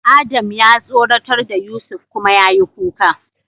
Adam ya tsoratar da Yusuf kuma yayi kuka.